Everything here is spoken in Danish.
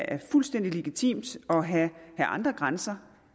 er fuldstændig legitimt at have andre grænser